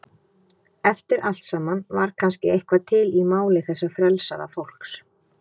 Eftir allt saman var kannski eitthvað til í máli þessa frelsaða fólks.